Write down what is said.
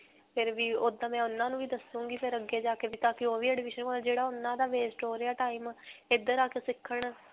ਫਿਰ ਵੀ, ਓੱਦਾਂ ਦੇ ਉਨ੍ਹਾਂ ਨੂੰ ਵੀ ਦੱਸੂਂਗੀ ਫਿਰ ਅੱਗੇ ਜਾ ਕੇ ਕਿ ਪਤਾ ਓਹ ਵੀ ਜਿਹੜਾ ਓਨ੍ਹਾਂ ਦਾ waste ਹੋ ਰਿਹਾ ਹੈ time ਇੱਧਰ ਆ ਕੇ ਸਿੱਖਣ.